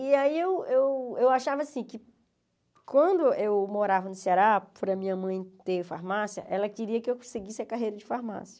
E aí eu eu eu achava assim, que quando eu morava no Ceará, por minha mãe ter farmácia, ela queria que eu seguisse a carreira de farmácia.